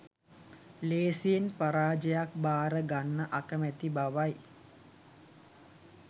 ලේසියෙන් පරාජයක් බාර ගන්න අකමැති බවයි.